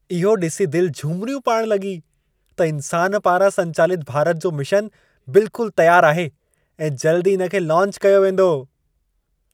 इहो ॾिसी दिलि झुमिरियूं पाइण लॻी त इंसान पारां संचालित भारत जो मिशनु बिल्कुलु तयारु आहे ऐं जल्द ई इन खे लॉन्च कयो वेंदो।